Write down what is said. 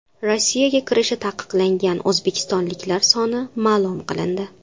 Rossiyaga kirishi taqiqlangan o‘zbekistonliklar soni ma’lum qilindi.